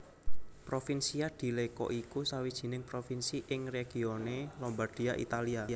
Provincia di Lecco iku sawijining provinsi ing regione Lombardia Italia